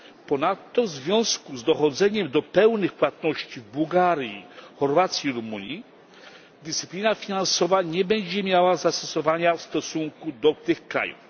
Ponadto w związku z dochodzeniem do pełnych płatności w Bułgarii, Chorwacji i Rumunii dyscyplina finansowa nie będzie miała zastosowania do tych krajów.